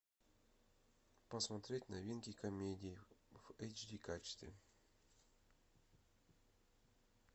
посмотреть новинки комедии в эйч ди качестве